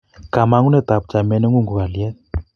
kamangunet ab chamiet nengun ko kalyet